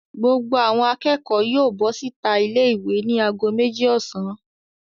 Gbogbo àwọn akẹ́kọ̀ọ́ yóò bọ́ síta ilé-ìwé ní ago méjì ọ̀sán.